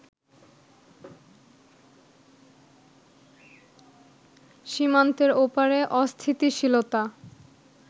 সীমান্তের ওপারে অস্থিতিশীলতা